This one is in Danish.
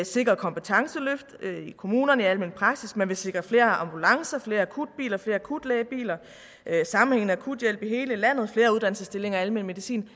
sikre kompetenceløft i kommunerne i almen praksis man vil sikre flere ambulancer flere akutbiler flere akutlægebiler sammenhængende akuthjælp i hele landet flere uddannelsesstillinger i almen medicin